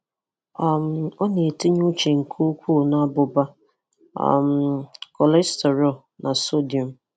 um ọ na-etinye uche nke ukwuu na abụba, um cholesterol na sodium.